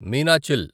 Meenachil